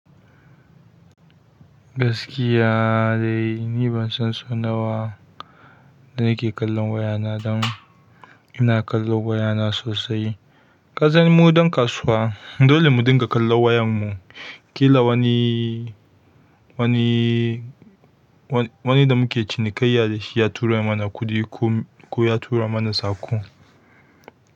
Gaskiya dai ni ban san so nawa da nake kallon wayana don ina kallo wayana sosai. Kasan mu don kasuwa, dole mu dinga kallon wayan mu, ƙila wani, wani, wani da muke cinikayya da shi ya tura mana kuɗi ko, ko ya tura mana saƙo.